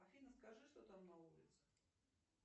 афина скажи что там на улице